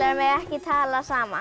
mega ekki tala saman